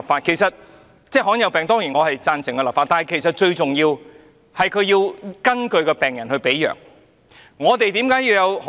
我當然贊成就罕見疾病立法，但其實最重要的是要根據病人的病情來配藥。